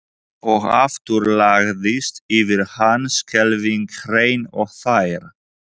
Og aftur lagðist yfir hann skelfing hrein og tær.